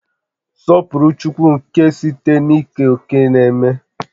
Sọpụrụ chi nke ala site n'ikere òkè n'ememe